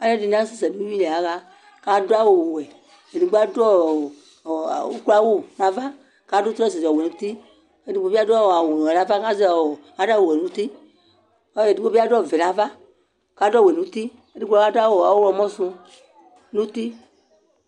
Alu ɛdini asɛsɛ nʋ uwuili yaɣakʋ adʋ awu wɛEdigbo adʋ ɔɔ ukloawʋ navaKadʋ trɔsu di ɔwɛ nutikedigbo bi'adʋ ɔɔ awu nu nava, kʋ azɛ ɔɔ ,adʋ awu wɛ ŋuti Kʋ edigbo biadʋ awu vɛ navakadu awu wɛ ŋuti, kʋ adu awu ɔɣlɔmɔ su nti